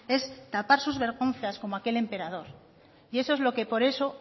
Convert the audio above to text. es tapar sus vergüenzas como aquel emperador y eso es lo que por eso